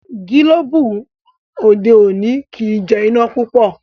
Gilobu òde òni kí jé iná púpọ.